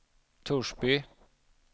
Torsby